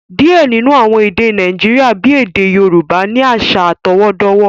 Diẹ ninu awọn èdè Nàìjíríà, bí èdè Yorùbá, ni awọn aṣa atọwọdọwọ